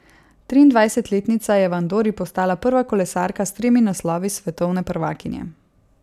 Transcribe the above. Triindvajsetletnica je v Andori postala prva kolesarka s tremi naslovi svetovne prvakinje.